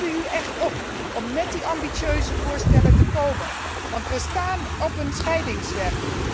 We roepen u echt op om met die ambitieuze voorstellen te komen, want we staan op een tweesprong.